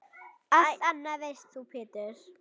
Allt annað veist þú Pétur.